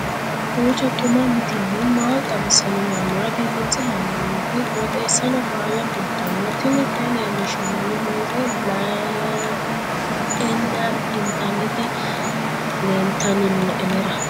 kowiicho xuma mtini maa xawissanno yaannohura biifinse haa'noonniti qooxeessano faayya kultanno tini kayi leellishshannori muze le'eenna intanniti leeltanni nooe anera